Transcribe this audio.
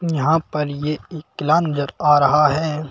यहां पर ये एकला नजर आ रहा है।